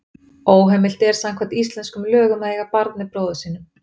Óheimilt er samkvæmt íslenskum lögum að eiga barn með bróður sínum.